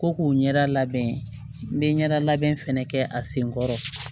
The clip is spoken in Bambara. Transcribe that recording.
Ko k'u ɲɛda labɛn n bɛ ɲɛda labɛn fɛnɛ kɛ a sen kɔrɔ